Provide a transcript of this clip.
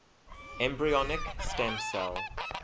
embryonic stem cell